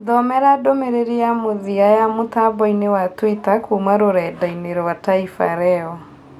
Thomera ndũmĩrĩri ya mũthia ya mũtamboinĩ wa twita kuma rũredainĩ rwa taifa leo